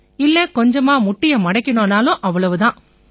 இல்லை கொஞ்சமா முட்டியை மடக்கினோம்னாலும் அவ்வளவு தான்